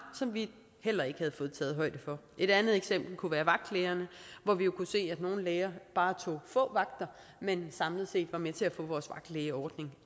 som vi heller ikke havde fået taget højde for et andet eksempel kunne være vagtlægerne hvor vi jo kunne se at nogle læger bare tog få vagter men samlet set var med til at få vores vagtlægeordning